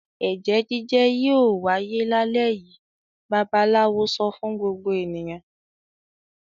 "Ẹ̀jẹ́ jíjẹ́ yóò wáyé lálẹ́ òní!" Babaláwo sọ fún gbogbo ènìyàn.